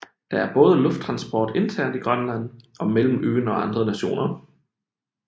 Der er både lufttransport internt i Grønland og mellem øen og andre nationer